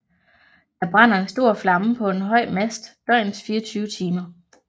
Der brænder en stor flamme på en høj mast døgnets 24 timer